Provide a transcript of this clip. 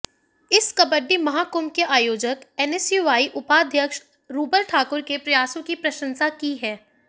इस कबड्डी महाकंुभ के आयोजक एनएसयूआई उपाध्यक्ष रूबल ठाकुर के प्रयासों की प्रशंसा की है